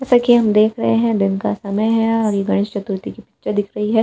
जैसा कि हम देख रहे हैं। दिन का समय है और ये गणेश चतुर्थी कि पूजा दिख रही है।